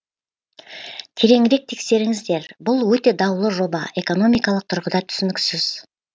тереңірек тексеріңіздер бұл өте даулы жоба экономикалық тұрғыда түсініксіз